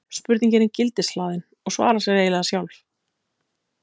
spurningin er gildishlaðin og svarar sér eiginlega sjálf